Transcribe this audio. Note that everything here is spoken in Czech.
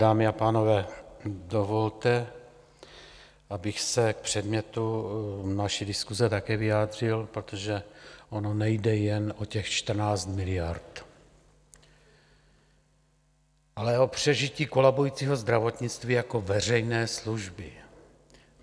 Dámy a pánové, dovolte, abych se k předmětu naší diskuse také vyjádřil, protože ono nejde jen o těch 14 miliard, ale o přežití kolabujícího zdravotnictví jako veřejné služby.